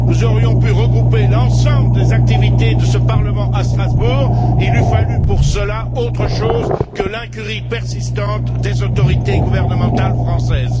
Nous aurions pu regrouper l'ensemble des activités de ce Parlement à Strasbourg, il eût fallu pour cela autre chose que l'incurie persistante des autorités gouvernementales françaises.